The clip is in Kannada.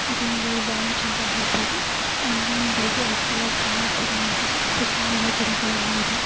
ಇದು ವೊಂದು ಲೌಂಜ್ ಅಂತ ಹೇಳಬಹುದು ಅಲ್ಲಿ ಒಂದು ವೈಟ್ ಕಲರ್ ಕಾರ್ ಕೂಡ ನಿಂತಿದೆಯೇ ಸುತ್ತ ಮರ ಗಿಡಗಳೆಲ್ಲ ಇದೆ .